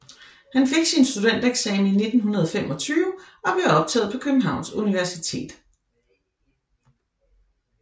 Han fik sin studentereksamen i 1925 og blev optaget på Københavns Universitet